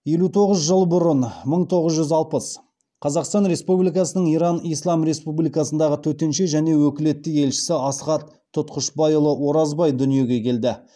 елу тоғыз жыл бұрын қазақстан республикасының иран ислам республикасындағы төтенше және өкілетті елшісі асхат тұтқышбайұлы оразбай дүниеге келді